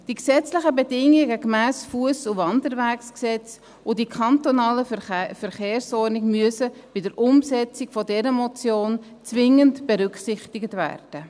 Die gesetzlichen Bedingungen gemäss dem Fuss- und Wanderweggesetz und die kantonale Verkehrsordnung müssen bei der Umsetzung dieser Motion zwingend berücksichtigt werden.